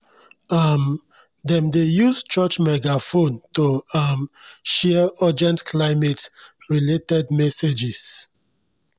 um dem dey use church megaphone to um share urgent climate-related messages